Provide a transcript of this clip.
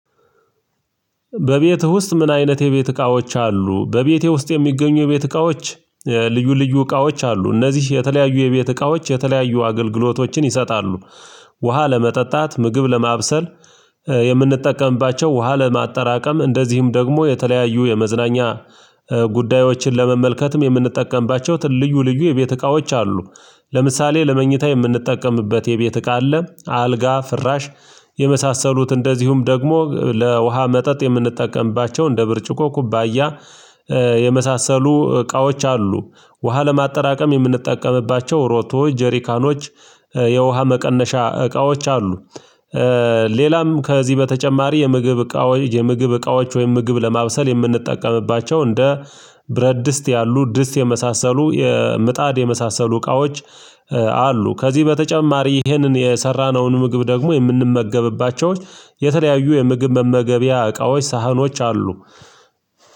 በቤትህ ውስጥ ምን? አይነት የቤት እቃዎች አሉ በቤቴ ውስጥ የሚገኙ የቤት እቃዎች ልዩ ልዩ እቃዎች አሉ እነዚህ የተለያዩ የቤት እቃዎች የተለያዩ አገልግሎቶችን ይሰጣሉ። ውሃ ለመጠጣት ምግብ ለማብሰል። የምንጠቀምባቸው ውሃ ለማጠራቀም እንደዚሁም ደግሞ የተለያዩ የመዝናኛ ጉዳዮችን ለመመልከትም የምንጠቀምባቸው ልዩልዩ የቤት እቃዎች አሉ። ለምሳሌ ለመኝታ የምንጠቀምበት የቤት እቃ አለ አልጋ ፍራሽ የመሳሰሉት እንደዚሁም ደግሞ ለውሃ መጠጥ የምንጠቀምባቸው እንደ ብርጭቆ ኩባያ የመሳሰሉ እቃዎች አሉ። ውሃ ለማጠራቀም የምንጠቀምባቸው ሮቶ ጀሪካኖች የውሃ መቀነሻ እቃዎች አሉ። ሌላም ከዚህ በተጨማሪ የምግብ እቃዎች የምግብ እቃዎች ወይም ምግብ ለማብሰል የምንጠቀምባቸው እንደ ብረት ድስት ያሉ ድስት የመሳሰሉ የምጣድ የመሳሰሉ እቃዎች አሉ። ከዚህ በተጨማሪ ይሄንን የሰራነውን ምግብ ደግሞ የምንመገብባቸው የተለያዩ የምግብ መመገቢያ እቃዎች ሳህኖች አሉ።